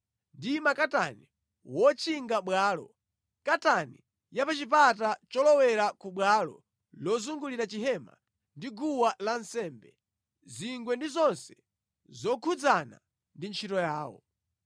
ndi makatani wotchinga bwalo, katani ya pa chipata cholowera ku bwalo lozungulira Chihema ndi guwa lansembe, zingwe ndi zonse zokhudzana ndi ntchito yawo.